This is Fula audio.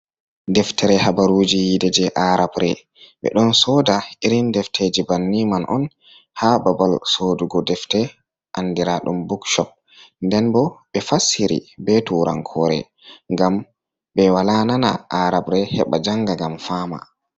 Deftere habaruji yiide je arabre, ɓeɗon sooda irin defteji banni man on ha babal sodugo defte, andira ɗum book sop, nden bo ɓe fassiri be turankore ngam ɓe wala nana arabre heɓa janga ngam fama.